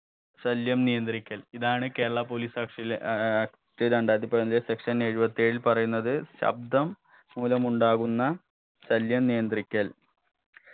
ശല്യം നിയന്ത്രിക്കൽ ഇതാണ് കേരള police act ലെ ഏർ act രണ്ടായിരത്തി പതിനൊന്നിലെ section എഴുപത്തി ഏഴിൽ പറയുന്നത് ശബ്ദം മൂലമുണ്ടാകുന്ന ശല്യം നിയന്ത്രിക്കൽ